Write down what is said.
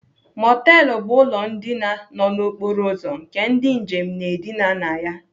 Mọtelụ bụ ụlọ ndina nọ n'okporo ụzọ nke ndị njem na-edina na ya..